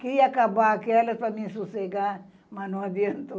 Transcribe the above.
Queria acabar aquelas para me sossegar, mas não adiantou.